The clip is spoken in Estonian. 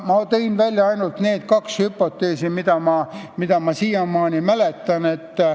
Ma tõin välja ainult need kaks hüpoteesi, mida ma siiamaani mäletan.